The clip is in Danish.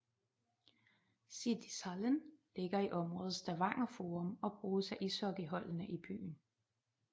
Siddishallen ligger i området Stavanger Forum og bruges af ishockeyholdene i byen